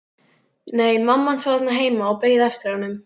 Nei, mamma hans var þarna heima og beið eftir honum.